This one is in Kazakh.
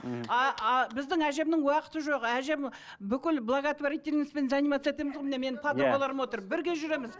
мхм біздің әжемнің уақыты жоқ әжем бүкіл благотворительностьпен заниматься етеміз ғой міне менің подругаларым отыр бірге жүреміз